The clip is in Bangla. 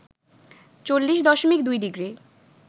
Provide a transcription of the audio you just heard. ৪০ দশমিক ২ ডিগ্রি